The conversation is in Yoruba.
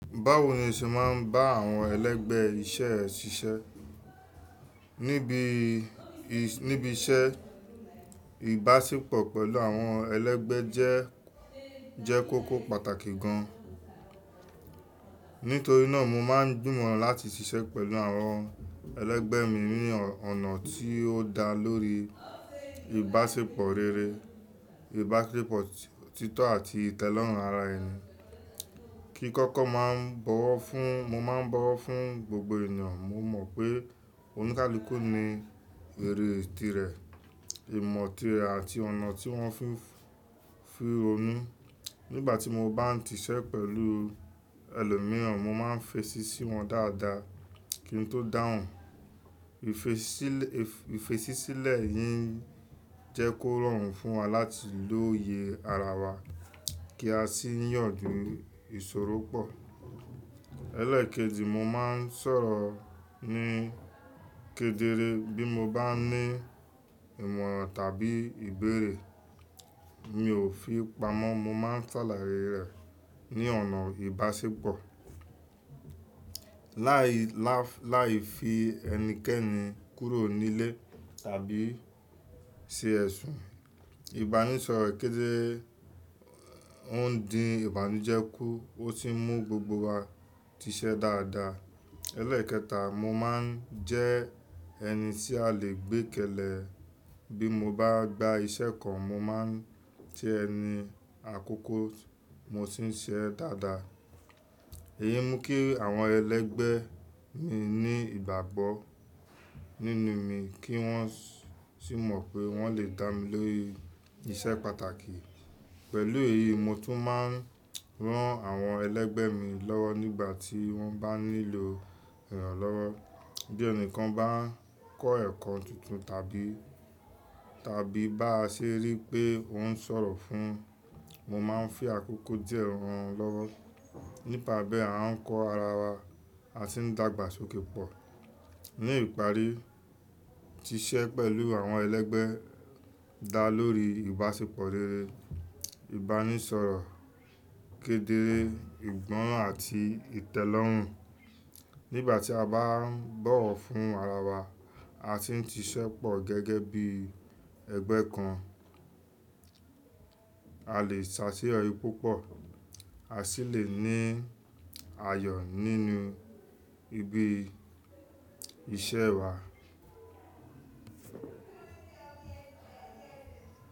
Báwo ni o ṣe máa ń bá àwọn ẹlẹgbẹ́ iṣẹ́ ẹ ṣiṣẹ́? Níbi, níbi iṣẹ́, ìbáṣepọ̀ pẹ̀lú àwọn ẹlẹgbẹ́ jẹ́, jẹ́ kóko pàtàkì gan. Nítorí náà mo máa ń gbúmọ̀ láti ṣiṣẹ́ pẹ̀lú àwọn ẹlẹgbẹ́ mi ní ọ̀nà tí ó dá lórí ìbáṣepọ̀ rere, ìbáṣepọ̀ títọ́ àti ìtẹ́lọ́rùn ara ẹni. Kí kọ́kọ́ máa ń bọ̀wọ̀ fún, mo máa ń bọ̀wọ̀ fún gbogbo ènìyàn. Mo mọ̀ pé oníkálukú ni èrè ìtìrẹ, ìmọ̀ ti rẹ̀ àti ọ̀nà tí wọ́n fi, fi òní. Nígbà tí mo bá ń ṣiṣẹ́ pẹ̀lú ẹlòmíràn, mo máa ń fetì sí wọn dáadáa kí n tó dáhùn. Ìfesílẹ̀, ìfetìsílẹ̀ yìí jẹ́ kó rọrùn fún wa láti lóye ara wa kí a sì yànjú ìṣòro pọ̀. Ẹ̀lẹ́ẹ̀kẹ́dì, mo máa ń sọ̀rọ̀ ní kedere bí mo bá ní ìmọ̀ràn tàbí ìbéèrè. Mi ò fi pamọ́, mo máa ń sàlàyé rẹ̀ ní ọ̀nà ìbáṣepọ̀, láì lá, láì fi ẹnikẹ́ni kúrò nílé tàbí ṣe ẹ̀sùn. Ìbánisọ̀rọ̀ kedere ọ̀ ń dín ìbànújẹ́ kú ó sì ń mú gbogbo wa tiṣẹ́ dáadáa. Ẹ̀lẹ́ẹ̀kẹta, mo máa ń jẹ́ ẹni tí a lè gbé kẹ̀lẹ̀. Bí mo bá gba iṣẹ́ kan, mo máa ń jẹ ẹni àkọ́kọ́, mo sì ń ṣe ẹ́ dáadáa. Èyí mú kí àwọn ẹlẹgbẹ́ mi ní ìgbàgbọ́ nínú mi kí wọ́n sì mọ̀ pé wọ́n lè dá mi lórí iṣẹ́ pàtàkì. Pẹ̀lú èyí, mo tún máa ń rán àwọn ẹlẹgbẹ́ mi lọ́wọ́ nígbà tí wọ́n bá nílò ìrànlọ́wọ́. Bí ẹnìkan bá ń kọ́ ẹ̀kọ́ tuntun tàbí, tàbí bá ṣe rí pé ó ń sọ̀rọ̀ fún, mo máa ń fi àkókò díẹ̀ rán wọn lọ́wọ́. Nípa bí à ń kọ ara wa, a sì ń dàgbà sókè pọ̀. Ní ìparí, ṣiṣẹ́ pẹ̀lú àwọn ẹlẹgbẹ́ dá lórí ìbáṣepọ̀ rere, ìbánisọ̀rọ̀ kedere, ìgbọ́ràn àti ìtẹ́lọ́rùn. Nígbà tí a bá ń bọ̀wọ̀ fún ara wa, a sì ń ṣiṣẹ́ pọ̀ gẹ́gẹ́ bí ẹgbẹ́ kan, a lè ṣàtìyọ̀rí púpọ̀, a sì lè ní ayọ̀ nínú ibi iṣẹ́ wa.